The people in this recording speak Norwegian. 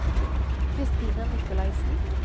Christina Nicolaysen